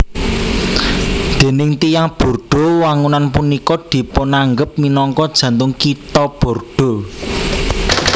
Déning tiyang Bordeaux wangunan punika dipunanggep minangka jantung Kitha Bordeaux